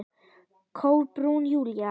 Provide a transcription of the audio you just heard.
Kolbrún Júlía.